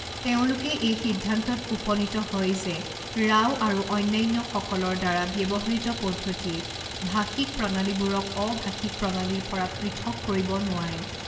তেওঁলোকে এই সিদ্ধান্তত উপনীত হয় যে ৰাও আৰু অন্যান্যসকলৰ দ্বাৰা ব্যৱহৃত পদ্ধতিয়ে ভাষিক প্ৰণালীবোৰক অ ভাষিক প্ৰণালীৰ পৰা পৃথক কৰিব নোৱাৰে।